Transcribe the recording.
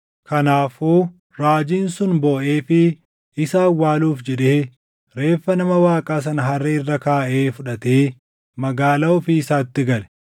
Kanaafuu raajiin sun booʼeefii isa awwaaluuf jedhee reeffa nama Waaqaa sana harree irra kaaʼee fudhatee magaalaa ofii isaatti gale.